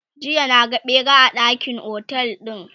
jiya na ga ɓera a ɗakin otel ɗina